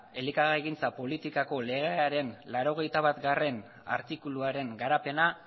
elikagaigintza politikako legearen laurogeita batgarrena artikuluaren garapena